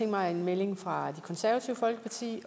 mig en melding fra det konservative folkeparti